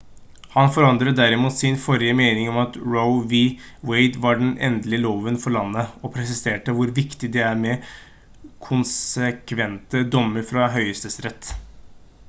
han forandret derimot sin forrige mening om at roe v. wade var den «endelige loven for landet» og presiserte hvor viktig det er med konsekvente dommer fra høyesterett